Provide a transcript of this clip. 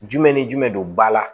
Jumɛn ni jumɛn don ba la